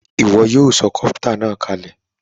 Ìwo yio so copter nàá kalè